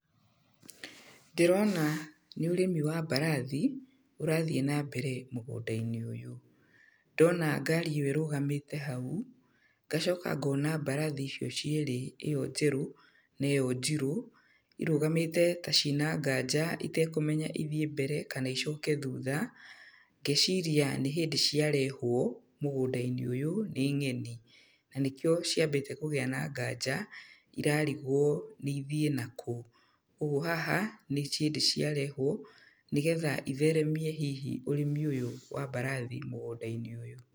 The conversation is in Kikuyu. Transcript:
Ndĩrona nĩ ũrĩmi wa mbarathi, ũrathiĩ na mbere mũgũnda-inĩ ũyũ. Ndona ngari ĩyo ĩrũgamĩte hau, ngacoka ngona mbarathi icio cierĩ ĩyo njerũ, na ĩyo njirũ, irũgamĩte ta ciĩna nganja itekũmenya ithiĩ mbere, kana icoke thutha. Ngeciria nĩ hĩndĩ ciarehwo, mũgũnda-inĩ ũyũ, nĩ ng'eni. Na nĩkĩo ciambĩte kũgĩa na nganja, irarigwo nĩ ithiĩ nakũ. Ũguo haha, nĩ hĩndĩ ciarehwo, nĩgetha itheremie hihi ũrĩmi ũyũ wa mbarathi mũgũnda-inĩ ũyũ.